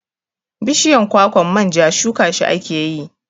Bishiyan kwakwan manja shuka shi akeyi